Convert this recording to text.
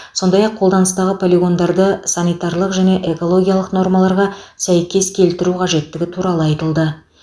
сондай ақ қолданыстағы полигондарды санитарлық және экологиялық нормаларға сәйкес келтіру қажеттігі туралы айтылды